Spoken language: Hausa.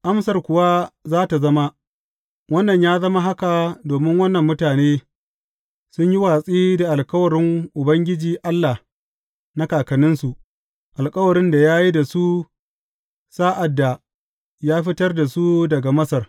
Amsar kuwa za tă zama, Wannan ya zama haka domin wannan mutane, sun yi watsi da alkawarin Ubangiji Allah na kakanninsu, alkawarin da ya yi da su sa’ad da ya fitar da su daga Masar.